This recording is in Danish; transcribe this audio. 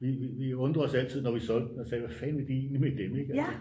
Vi undrede os altid når vi solgte dem og sagde hvad fanden vil de egentlig med dem ikke altså